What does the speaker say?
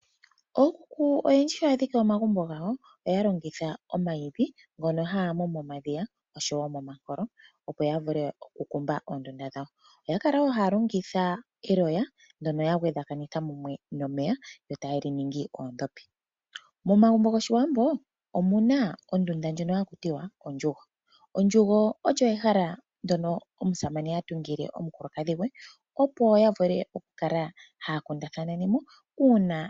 Ookuku oyendji shi ya dhike omagumbo gawo oya longitha omwiidhi ngono haya mu momadhiya noshowo momankolo, opo ya vule okukumba oondunda dhawo. Oya kala wo haya longitha eloya ndyono ya vundakanitha nomeya yo taye li ningi oondhopi. Momagumbo gOshiwambo omu na ondunda ndjono haku tiwa ondjugo. Ondjugo olyo ehala ndyono omusamane ha tungile omukulukadhi gwe.